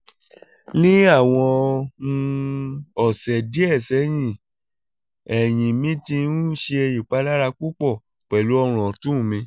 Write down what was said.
ni awọn um ọsẹ diẹ sẹhin ẹhin mi ti n ṣe ipalara pupọ pẹlu ọrun ọtun mi